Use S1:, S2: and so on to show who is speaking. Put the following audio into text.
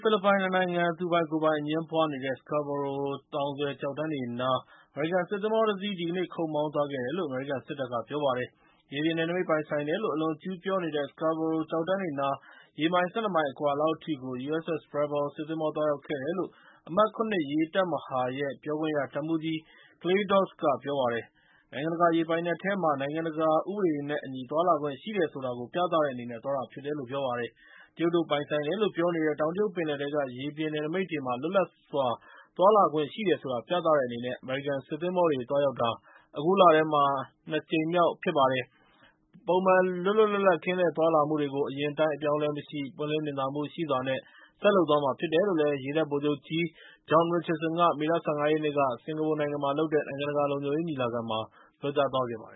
S1: ဖိလစ်ပိုင် ၂ နိုင်ငံ သူပိုင်ကိုယ်ပိုင် အငြင်းပွားနေတဲ့ Scarborough သောင်စွယ် ကျောက်တန်းတွေနား အမေရိကန်စစ်သင်္ဘောတစီး ဒီကနေ့ ခုတ်မောင်းသွားခဲ့တယ်လို့ အမေရိကန်စစ်တပ်က ပြောပါတယ်။ ရေပြင်နယ်နိမိတ်ပိုင်ဆိုင်တယ်လို့ အလွန်အကျူးပြောနေတဲ့ Scarborough ကျောက်တန်းတွေနား ရေမိုင် ၁၂ မိုင်အကွာလောက်အထိကို USS Preble စစ်သင်္ဘော သွားရောက်ခဲ့တယ်လို့ အမှတ် ၇ ရေတပ်မဟာရဲ့ပြောခွင့်ရ တပ်မှူးကြီး Clay Doss ကပြောပါတယ်။ နိုင်ငံတကာ ရေပိုင်နက်ထဲမှာ နိုင်ငံတကာ ဥပဒေတွေနဲ့ အညီသွားလာခွင့်ရှိတယ်ဆိုတာ ပြသတဲ့အနေနဲ့ သွားတာဖြစ်တယ်လို့ ပြောပါတယ်။ တရုတ်တို့ပိုင်ဆိုင်တယ်လို့ ပြောနေတဲ့ တောင်တရုတ်ပင်လယ်ထဲက ရေပြင်နယ်နိမိတ်တွေမှာ လွတ်လပ်စွာ သွားလာခွင့်ရှိတယ်ဆိုတာ ပြသတဲ့အနေနဲ့ အမေရိကန်စစ်သင်္ဘောတွေ သွားရောက်တာ အခုလထဲမှာ အခု ၂ ကြိမ်မြောက်ဖြစ်ပါတယ်။ ပုံမှန် လွတ်လွတ်လပ်လပ် ကင်းလှည့်သွားလာမှုတွေကို အရင်အတိုင်း အပြောင်းအလဲမရှိ ပွင့်လင်းမြင်သာမှုရှိစွာ ဆက်လုပ်သွားမှာဖြစ်တယ်လို့ ရေတပ်ဗိုလ်ချုပ်ကြီး John Richardson က မေလ ၁၅ ရက်နေ့က စင်္ကာပူမှာလုပ်ခဲ့တဲ့ နိုင်ငံတကာလုံခြုံရေး ညီလာခံမှာ ပြောကြားသွားခဲ့ပါတယ